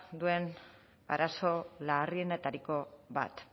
duen arazo larrienetariko bat